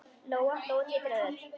Lóa-Lóa titraði öll.